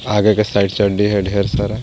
आगे के side side ढे-ढेर सारा.